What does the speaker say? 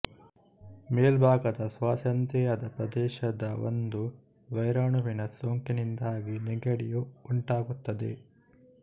ಮೇಲ್ಭಾಗದ ಶ್ವಾಸೇಂದ್ರಿಯದ ಪ್ರದೇಶದ ಒಂದು ವೈರಾಣುವಿನ ಸೋಂಕಿನಿಂದಾಗಿ ನೆಗಡಿಯು ಉಂಟಾಗುತ್ತದೆ